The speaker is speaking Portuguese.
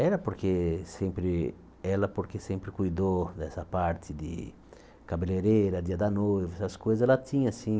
Era porque sempre ela porque sempre cuidou dessa parte de cabeleireira, dia da noiva, essas coisas ela tinha, assim.